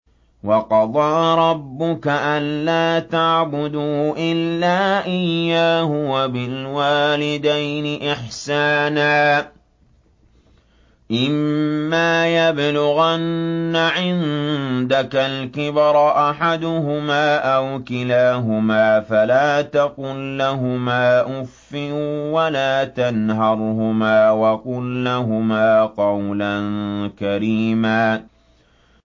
۞ وَقَضَىٰ رَبُّكَ أَلَّا تَعْبُدُوا إِلَّا إِيَّاهُ وَبِالْوَالِدَيْنِ إِحْسَانًا ۚ إِمَّا يَبْلُغَنَّ عِندَكَ الْكِبَرَ أَحَدُهُمَا أَوْ كِلَاهُمَا فَلَا تَقُل لَّهُمَا أُفٍّ وَلَا تَنْهَرْهُمَا وَقُل لَّهُمَا قَوْلًا كَرِيمًا